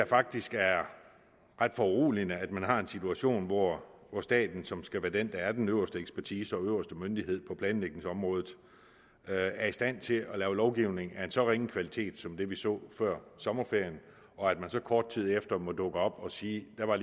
faktisk det er ret foruroligende at man har en situation hvor staten som skal være den der er den øverste ekspertise og øverste myndighed på planlægningsområdet er i stand til at lave lovgivning af en så ringe kvalitet som det vi så før sommerferien og at man så kort tid efter må dukke op og sige at der var